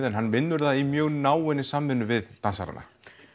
en hann vinnur það í mjög náinni vinnu við dansarana